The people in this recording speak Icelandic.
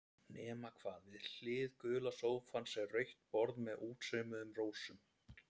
Nema hvað, við hlið gula sófans var rautt borð með útsaumuðum rósum.